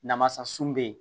Namasa sun bɛ yen